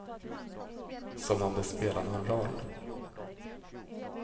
Som om det spelade någon roll.